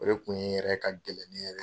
O de kun ye yɛrɛ ka gɛlɛn yɛrɛ.